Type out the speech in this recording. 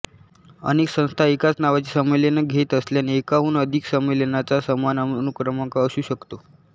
अनेक संस्था एकाच नावाची संमेलने घेत असल्याने एकाहून अधिक संमेलनांचा समान अनुक्रमांक असू शकतो